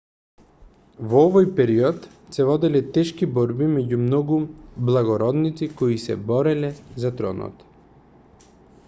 во овој период се воделе тешки борби меѓу многу благородници кои се бореле за тронот